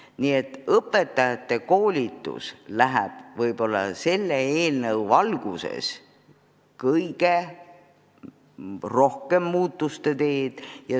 Nii et õpetajate koolitus võib-olla pärast selle eelnõu vastuvõtmist natuke muutub.